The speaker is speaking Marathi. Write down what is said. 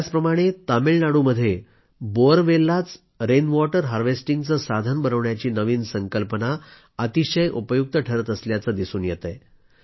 याचप्रमाणे तामिळनाडूमध्ये बोअरवेललाच रेनवॉटर हार्वेस्टिंगचं साधन बनवण्याची नवीन संकल्पना अतिशय उपयुक्त ठरत असल्याचं दिसून येतंय